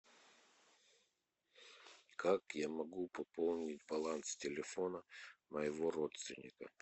как я могу пополнить баланс телефона моего родственника